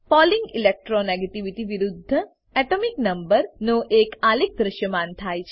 polling electro negativity વિરુદ્ધ atomic number નો એક આલેખ દ્રશ્યમાન થાય છે